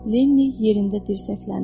Leni yerində dirsəkləndi.